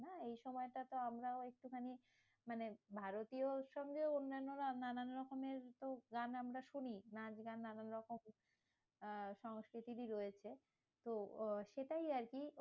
হ্যাঁ এই সময়টা তো আমরাও একটুখানি, মানে ভারতীয় উৎসব নিয়েও অন্যান্যরা নানান রকমের গান আমরা শুনি নাচ গান নানান রকম আহ সংস্কৃতিকই রয়েছে তো আহ সেটাই আরকি